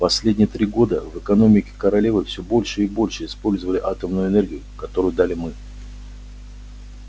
последние три года в экономике королевы все больше и больше использовали атомную энергию которую дали мы